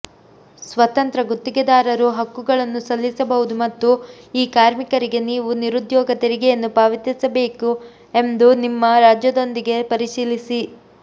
ಸ್ವತಂತ್ರ ಗುತ್ತಿಗೆದಾರರು ಹಕ್ಕುಗಳನ್ನು ಸಲ್ಲಿಸಬಹುದು ಮತ್ತು ಈ ಕಾರ್ಮಿಕರಿಗೆ ನೀವು ನಿರುದ್ಯೋಗ ತೆರಿಗೆಯನ್ನು ಪಾವತಿಸಬೇಕೆ ಎಂದು ನಿಮ್ಮ ರಾಜ್ಯದೊಂದಿಗೆ ಪರಿಶೀಲಿಸಿ